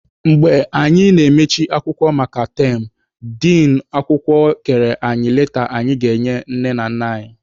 Mgbe anyị na-emechi akwụkwọ maka yam, din akwụkwọ kere anyi leta anyị ga-enye nne na nna anyị.